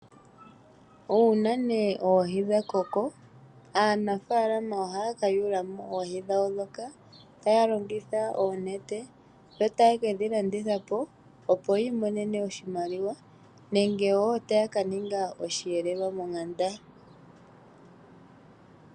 Una nee oohi ngele dhakoko aanafalama oha ka yula mo oohi dhawo dhoka taya longitha oonete taye kedhi landitha po opo yi imonene oshimaliwa. Nenge wo taya ka ninga osheelelwa megumbo.